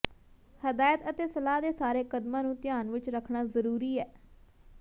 ਹਦਾਇਤ ਅਤੇ ਸਲਾਹ ਦੇ ਸਾਰੇ ਕਦਮਾਂ ਨੂੰ ਧਿਆਨ ਵਿਚ ਰੱਖਣਾ ਜ਼ਰੂਰੀ ਹੈ